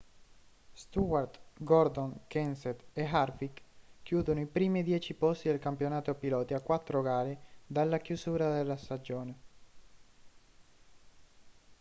stewart gordon kenseth e harvick chiudono i primi dieci posti del campionato piloti a quattro gare dalla chiusura della stagione